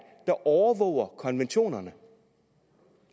der overvåger konventionerne